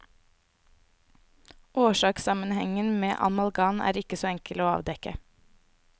Årsakssammenhengen med amalgam er ikke så enkel å avdekke.